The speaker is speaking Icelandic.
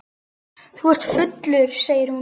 Þú ert fullur, segir hún.